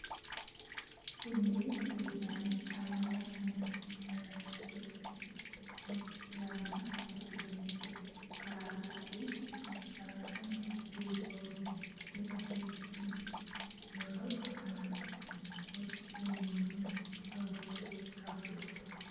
Kunneen meeshaalee faayaa morma irratti godhatamuudha. Boca lamaan hojjetamee jira. Karaa bitaatiin kan argamu boca onneetiin bifa keelloo kan qabu yoo ta'u, karaa mirgaan immoo boca geengootiin bifa warqee kan qabuudha.